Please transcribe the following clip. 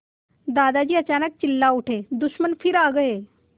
दादाजी अचानक चिल्ला उठे दुश्मन फिर आ गए